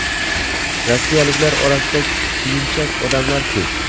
rossiyaliklar orasida kuyinchak odamlar ko‘p.